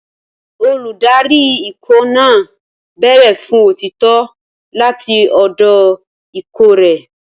Olùdarí ikọ̀ náà béèrè fún òtítọ́ láti ọ̀dọ̀ ikọ̀ rẹ̀.